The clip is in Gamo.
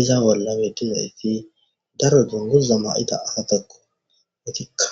iza wollame dina iti daro dunguza ma7ita asatakko wetikka